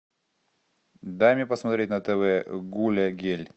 дай мне посмотреть на тв гуля гель